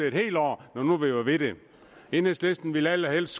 et helt år enhedslisten ville allerhelst